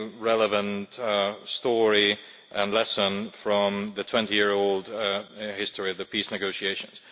relevant, story and lesson from the 20 year history of the peace negotiations.